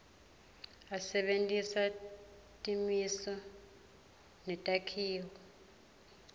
asebentisa timiso netakhiwo